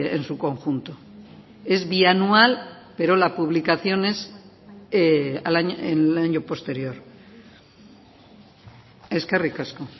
en su conjunto es bianual pero la publicación es en el año posterior eskerrik asko